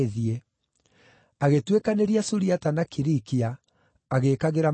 Agĩtuĩkanĩria Suriata na Kilikia, agĩĩkagĩra makanitha hinya.